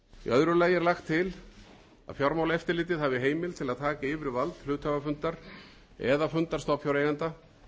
öðru lagi er lagt til að fjármálaeftirlitið hafi heimild til að taka yfir vald hluthafafundar eða fundar stofnfjáreigenda